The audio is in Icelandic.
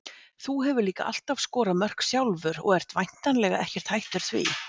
Þú hefur líka alltaf skorað mörk sjálfur og ert væntanlega ekkert hættur því?